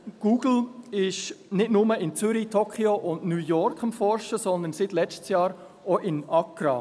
Google ist nicht nur in Zürich, Tokyo und New York am Forschen, sondern seit letztem Jahr auch in Accra.